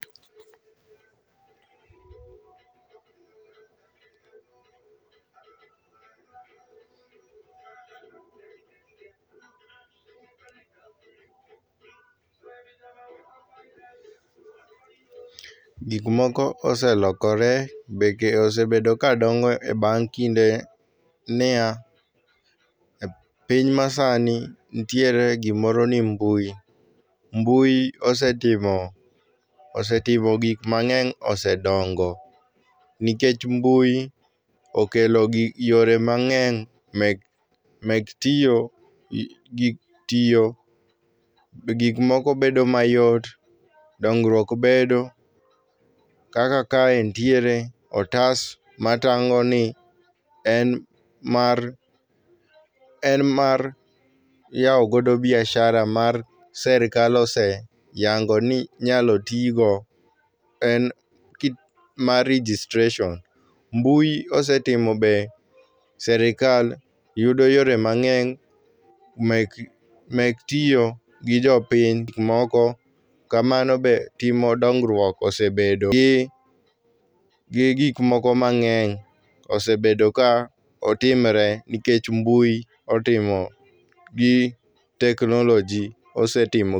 Gik moko oselokore. Be osebedo ka dongo e bang' kinde ni yaa, e piny masani, ntiere gimoro ni mbui. Mbui osetimo, osetimo gik mang'eny osedongo nikech mbui okelo gi yore mang'eny mek, mek tiyo gi tiyo, be gik moko bedo mayot. Dongruok bedo. Kaka kae ntiere otas matang'o ni en mar, en mar yao godo biashara mar serikal oseyango ni inyalo tii go. En mar registration. Mbui osetimo be serikal yudo yore mang'eny mek, mek tiyo gi jopiny moko. Kamano be timo dongruok osebedo gi gik moko mang'eny osebedo ka otimre nikech mbui otimo gi teknoloji osetimo.